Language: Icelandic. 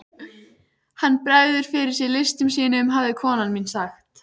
Hann bregður fyrir sig listum sínum hafði kona mín sagt.